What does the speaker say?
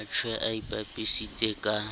a tshwaye a ipapisitse ka